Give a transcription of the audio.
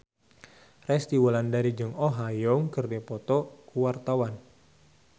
Resty Wulandari jeung Oh Ha Young keur dipoto ku wartawan